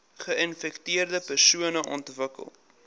geinfekteerde persone ontwikkel